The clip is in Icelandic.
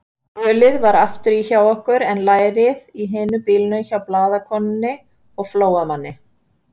Ölið var afturí hjá okkur en lærið í hinum bílnum hjá blaðakonu og Flóamanni.